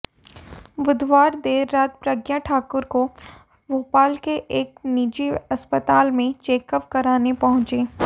बुधवार देर रात प्रज्ञा ठाकुर को भोपाल के एक निजी अस्पताल में चेकअप कराने पहुंची